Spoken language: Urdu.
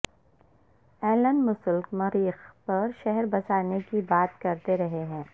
ایلن مسلک مریخ پر شہر بسانے کی بات کرتے رہے ہیں